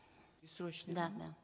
бессрочный да да